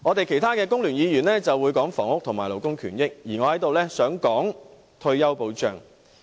其他工聯會議員會談談房屋和勞工權益，而我在此想談談退休保障。